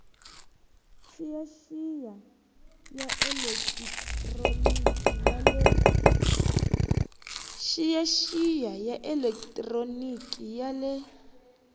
xiyaxiya ya elekitroniki ya le